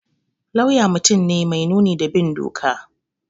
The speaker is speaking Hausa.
Lauya mutum ne mai nuni da bin doka